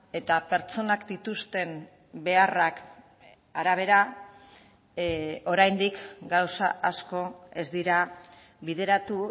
eta pertsonak dituzten beharrak arabera oraindik gauza asko ez dira bideratu